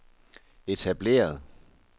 etablerede